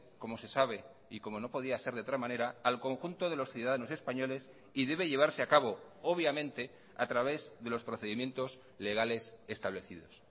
como se sabe y como no podía ser de otra manera al conjunto de los ciudadanos españoles y debe llevarse a cabo obviamente a través de los procedimientos legales establecidos